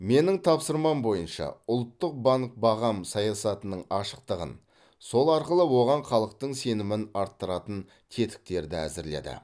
менің тапсырмам бойынша ұлттық банк бағам саясатының ашықтығын сол арқылы оған халықтың сенімін арттыратын тетіктерді әзірледі